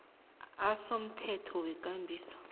a somthetho wekambiso